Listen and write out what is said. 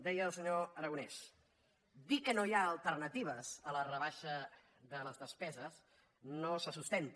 deia el senyor aragonès dir que no hi ha alternatives a la rebaixa de les despeses no se sustenta